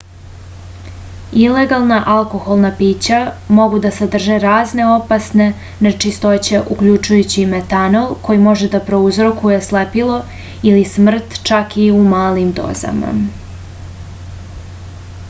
ilegana alkoholna pića mogu da sadrže razne opasne nečistoće uključujući metanol koji može da prouzrokuje slepilo ili smrt čak i u malim dozama